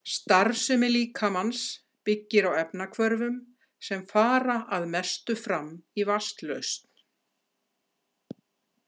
Starfsemi líkamans byggir á efnahvörfum sem fara að mestu fram í vatnslausn.